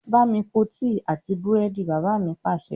Bámi po tíì àti búrẹ́dì! Bàbá mi Pàṣẹ.